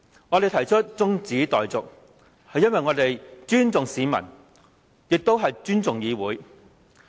我們提出辯論中止待續議案，是因為我們尊重市民、尊重議會。